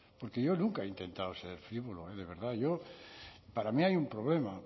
porque yo nunca he intentado ser frívolo de verdad yo para mí hay un problema